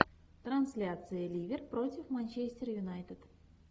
трансляция ливер против манчестер юнайтед